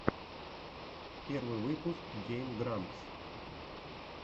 первый выпуск гейм грампс